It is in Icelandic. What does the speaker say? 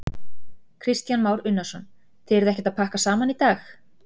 Kristján Már Unnarsson: Þið eruð ekkert að pakka saman í dag?